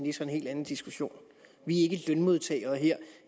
er så en helt anden diskussion vi er ikke lønmodtagere her